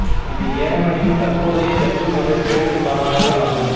இது யேமனின் தற்போதைய தெற்கு மற்றும் கிழக்கு மாகாணங்கள் ஆகும்